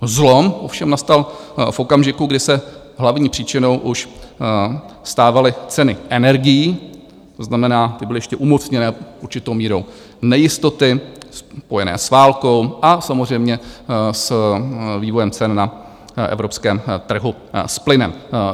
Zlom ovšem nastal v okamžiku, kdy se hlavní příčinou už stávaly ceny energií, to znamená, ty byly ještě umocněné určitou mírou nejistoty spojené s válkou a samozřejmě s vývojem cen na evropském trhu, s plynem.